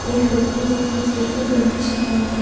एक व्यक्ति ने अपने सिर पे गमछी बांध--